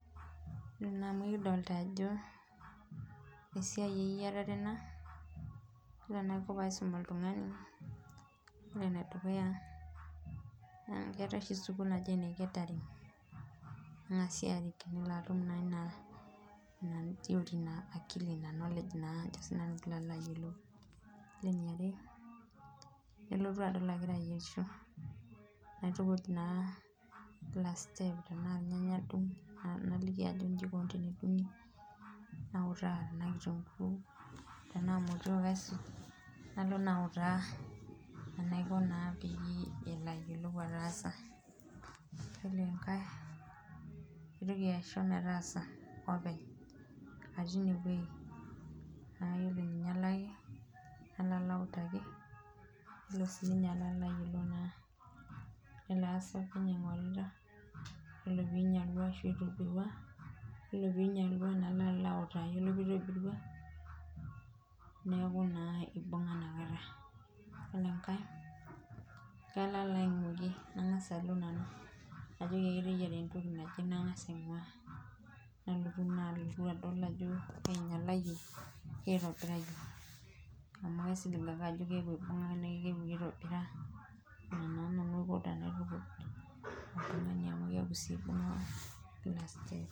Ore naa ena naa ekidolita ajo esiai eyierare ena ,ore pee aisum oltungani, ore enedukuya naa keetae oshi sukul naji ene catering kengasi arik nilo naa atum ina akili naa ina knowledge naa. ore eniare nelotu adol agira ayierisho. naitukuj naa kila step tena irnyanya adung naliki ajoki inji eikoni tenedungi nautaa tenaa kitunkuu , tenaa motiok aisuj nalo naa autaa peyie elo ayiolou atasa .yiolo enkae kaitoki aisho metaasa openy atii ineweji paa tenelo ainyalaki nalo autaki pee elo siininye alo ayiolou ,nelo aas openy aingorita ,ore pee einyalaa orashu eitobirua, oree pee einyalua nalo alo autaki ore pee eitobirua neeku naa etayiolo inakata .ore enkae kalo alo ainguiki nangas alo nanu ,najoki ake teyiera entoki naje nangas alo ainguaa nalotu naa adol ajo keitobirayie keinyalayie amu asip ake ajo keeku eibunga naake keitobira ina naa nanu aiko tenaitukuij oltungani amu keeku eibunga ina siai.